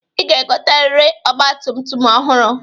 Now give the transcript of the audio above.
Ị ga-egoteriri ọgbatumtum ọhụrụ.